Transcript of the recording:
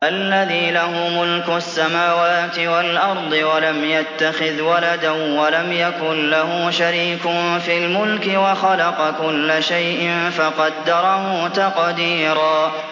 الَّذِي لَهُ مُلْكُ السَّمَاوَاتِ وَالْأَرْضِ وَلَمْ يَتَّخِذْ وَلَدًا وَلَمْ يَكُن لَّهُ شَرِيكٌ فِي الْمُلْكِ وَخَلَقَ كُلَّ شَيْءٍ فَقَدَّرَهُ تَقْدِيرًا